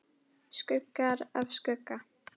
Skuggar af skugga.